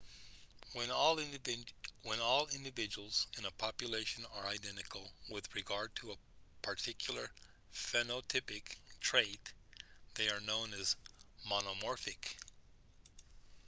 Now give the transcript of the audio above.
when all individuals in a population are identical with regard to a particular phenotypic trait they are known as monomorphic